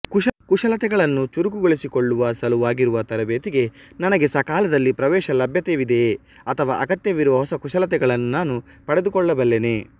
ಕುಶಲತೆಗಳನ್ನು ಚುರುಕುಗೊಳಿಸಿಕೊಳ್ಳುವ ಸಲುವಾಗಿರುವ ತರಬೇತಿಗೆ ನನಗೆ ಸಕಾಲದಲ್ಲಿ ಪ್ರವೇಶಲಭ್ಯತೆಯಿದೆಯೇ ಅಥವಾ ಅಗತ್ಯವಿರುವ ಹೊಸ ಕುಶಲತೆಗಳನ್ನು ನಾನು ಪಡೆದುಕೊಳ್ಳಬಲ್ಲೆನೇ